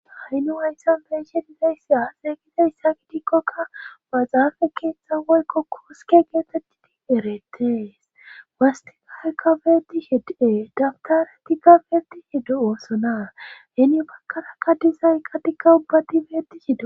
Ha'i nu hayssa beeshe dizayssa xeeqiza hissa ki tikkoka baxaafe keeththa woykko kooske geetettidi erettees wastiga he kabeeti hede daftare ti gabeti heddu'oosonaa heni bakkara qa disayqqa diqa ubbati beeti hede.